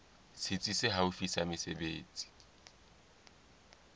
setsi se haufi sa mesebetsi